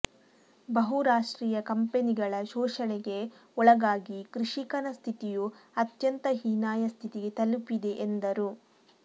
ಬಹುರಾಷ್ಟ್ರೀಯ ಕಂಪನಿಗಳ ಶೋಷಣೆಗೆ ಒಳಗಾಗಿ ಕೃಷಿಕನ ಸ್ಥಿತಿಯೂ ಅತ್ಯಂತ ಹೀನಾಯ ಸ್ಥಿತಿಗೆ ತಲುಪಿದೆ ಎಂದರು